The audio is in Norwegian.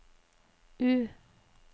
U